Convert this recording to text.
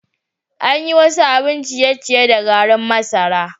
An yi wasu abin ciye-ciye da garin masara.